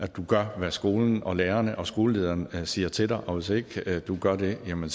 du gør hvad skolen lærerne og skolelederen siger til dig og hvis ikke du gør det jamen